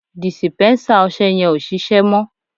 dìsìpénsá ọsẹ yen o ṣíṣe mo